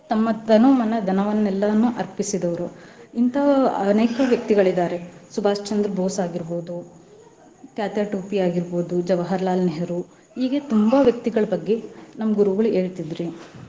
ತಮ್ಮ ತನು, ಮನ, ಧನವನ್ನೆಲ್ಲವನ್ನು ಅರ್ಪಿಸಿದವ್ರು ಇಂತ ಅನೇಕ ವ್ಯಕ್ತಿಗಳಿದ್ದಾರೆ ಶುಭಾಶ್ಚಂದ್ರ ಬೋಸ್ ಆಗೀರ್ಬೋದು, ತ್ಯಾತ್ಯಾ ಟೋಪಿ ಆಗೀರ್ಬೋದು, ಜವಾಹರ್ಲಾಲ್ ನೆಹರೂ ಹೇಗೆ ತುಂಬಾ ವ್ಯಕ್ತಿಗಳ ಬಗ್ಗೆ ನಮ್ಮ ಗುರುಗಳ್ ಹೇಳ್ತಿದ್ರ್ ರೀ.